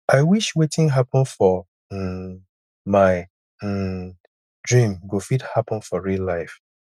i wish wetin happen for um my um dream go fit happen for real life